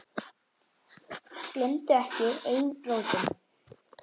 Gleymdu ekki eigin rótum.